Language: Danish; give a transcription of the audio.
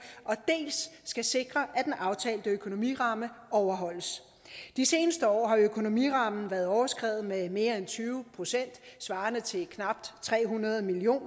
dels skal sikre at den aftalte økonomiramme overholdes de seneste år har økonomirammen været overskredet med mere end tyve procent svarende til knap tre hundrede million